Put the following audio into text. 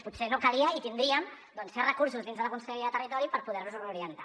potser no calia i tindríem certs recursos dins de la conselleria de territori per poder los reorientar